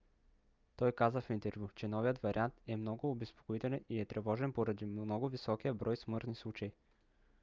той каза в интервю че новият вариант е много обезпокоителен и е тревожен поради много високия брой смъртни случаи.